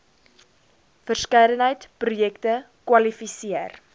verskeidenheid projekte kwalifiseer